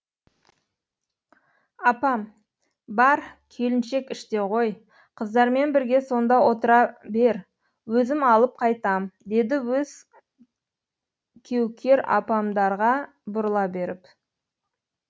апам бар келіншек іште ғой қыздармен бірге сонда отыра бер өзім алып қайтам деді өзі кеукер апамдарға бұрыла беріп